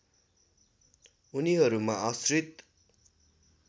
उनीहरूमा आश्रित